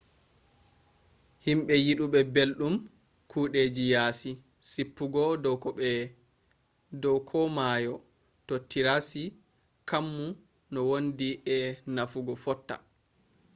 himɓe yiduɓe belɗum kudeji yaasi seppugo dow ko mayo to tirassi kammu no wondi e naffu fotta